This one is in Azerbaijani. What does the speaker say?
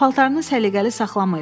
Paltarını səliqəli saxlamayıb.